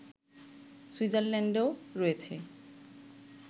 সুইজারল্যান্ডও রয়েছে